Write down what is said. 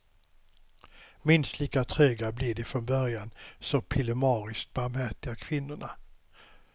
Minst lika tröga blir de från början så pillemariskt barmhärtiga kvinnorna.